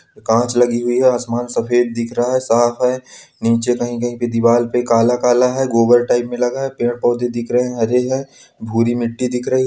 कांच लगी हुई है आसमान सफ़ेद दिख रहा है साफ़ है नीचे कहीं कहीं पे दीवाल पे काला काला है गोबर टाइप में लगा है पेड़ पोधे दिख रहे हैं हरे हैं भूरी मिट्टी दिख रही है।